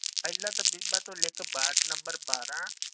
ਪਹਿਲਾਂ ਤਾਂ ਬੀਬਾ ਤੂੰ ਲਿਖ ਵਾਰਡ number ਬਾਰਾਂ